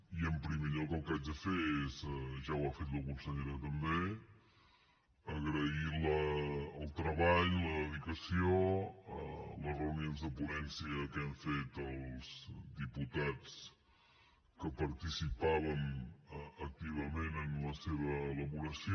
i en primer lloc el que haig de fer és ja ho ha fet la consellera també agrair el treball la dedicació les reunions de ponència que hem fet els diputats que participàvem activament en la seva elaboració